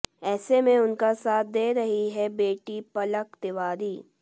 ऐसे में उनका साथ दे रही हैं बेटी पलक तिवारी